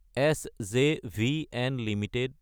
SJVN Ltd